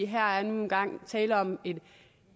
her er nu engang tale om